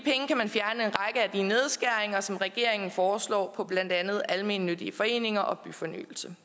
nedskæringer som regeringen foreslår på blandt andet almennyttige foreninger og byfornyelse